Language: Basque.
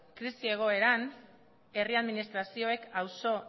krisi egoeran herri administrazioek auzo